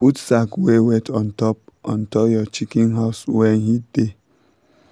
put sack wey wet ontop ontop your chicken house when heat da